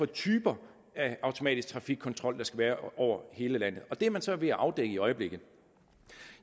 typer af automatisk trafikkontrol der skal være over hele landet det er man så ved at afdække i øjeblikket